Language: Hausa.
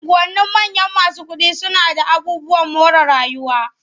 Unguwannin manyan masu kuɗi suna d aabubuwan more rayuwa.